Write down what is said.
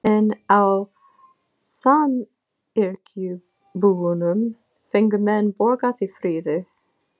En á samyrkjubúunum fengu menn borgað í fríðu.